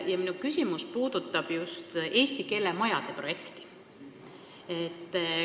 Ja minu küsimus puudutab just eesti keele majade projekti.